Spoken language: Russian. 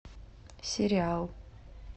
сериал